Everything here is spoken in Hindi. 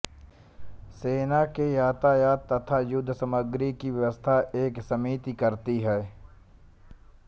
सेना के यातायात तथा युद्ध सामग्री की व्यवस्था एक समिति करती थी